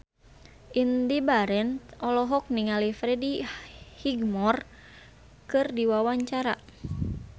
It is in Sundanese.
Indy Barens olohok ningali Freddie Highmore keur diwawancara